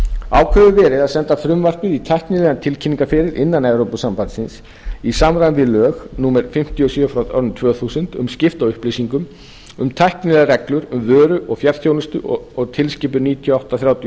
verið að senda frumvarpið í tæknilegan tilkynningaferil innan evrópusambandsins í samræmi við lög númer fimmtíu og sjö tvö þúsund um skipti á upplýsingum um tæknilegar reglur um vörur og fjarþjónustu og tilskipun níutíu og átta þrjátíu og